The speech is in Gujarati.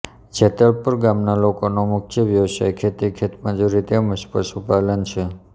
જેતલપુર ગામના લોકોનો મુખ્ય વ્યવસાય ખેતી ખેતમજૂરી તેમ જ પશુપાલન છે